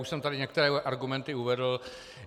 Už jsem tady některé argumenty uvedl.